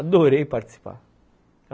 Adorei participar.